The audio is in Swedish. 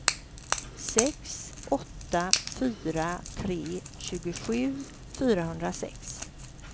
sex åtta fyra tre tjugosju fyrahundrasex